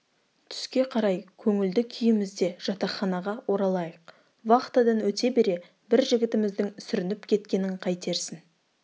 түске қарай көңілді күйімізде жатақханаға оралайық вахтадан өте бере бір жігітіміздің сүрініп кеткенін қайтерсің